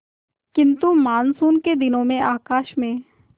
किंतु मानसून के दिनों में आकाश में